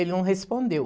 Ele não respondeu.